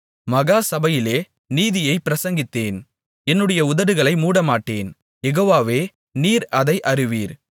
மகா சபையிலே நீதியைப் பிரசங்கித்தேன் என்னுடைய உதடுகளை மூடமாட்டேன் யெகோவாவே நீர் அதை அறிவீர்